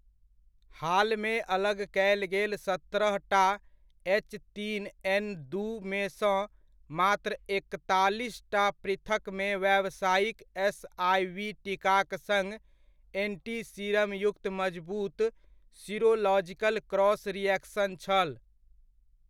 हालमे अलग कयल गेल सत्रहटा एच तीन एन दूमेसँ मात्र एकतालीसटा पृथक्मे व्यावसायिक एसआइवी टीकाक सङ्ग एंटीसीरम युक्त मजबूत सीरोलॉजिकल क्रॉस रिएक्शन छल।